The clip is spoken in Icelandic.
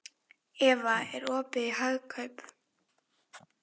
Eva, er opið í Hagkaup?